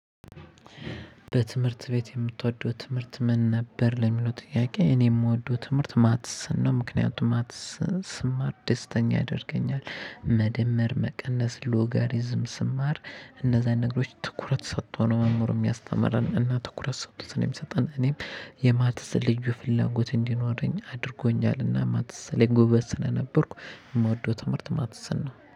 በትምህርት ቤት የምትወደው ትምህርት ምን ነበር ለሚለው ጥያቄ እኔ የምወደው ትምህርት ማትስን ነው። ምክንያቱም ማትስ ስማር ደስተኛ ያደርገኛል መደመር መቀነስ ሎጋሪዝም ስማር እነዛን ነገሮች ትኩረት ሰጥቶ ነው መኖሩን የሚያስምረን እና ትኩረት ሰጥቶት ነው የሚሰጠን እኔም የማትስ ልዩ ፍላጎት እንዲኖረኝ አድርጎኛል። እና ማትስ ላይ ጎበዝ ስለነበርኩ የምወደው ትምህርት ማትስን ነው